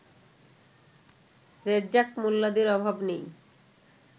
রেজ্জাক মোল্লাদের অভাব নেই